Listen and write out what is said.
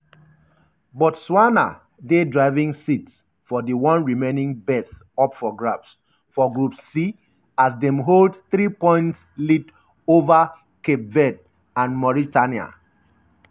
botswanadey driving um seat for di one remaining berth up for grabs um for group c as dem hold three-point lead overcape verdeandmauritania.